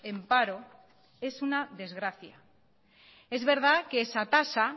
en paro es una desgracia es verdad que esa tasa